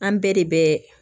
An bɛɛ de bɛ